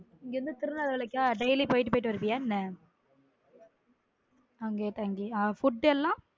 இங்க இருந்து திருநெல்வேலிக்கா daily போய்டு போய்டு வருவீயா என்ன அங்கையே தங்கி food எல்லான்